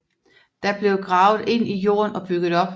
Det blev gravet ind i jorden og bygget op